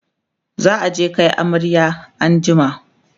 za'a je Kai amarya an jima